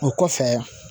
O kɔfɛ